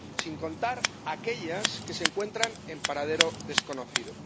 sin contar aquellas que se encuentran en paradero desconocido.